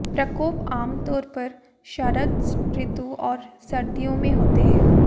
प्रकोप आम तौर पर शरद ऋतु और सर्दियों में होते हैं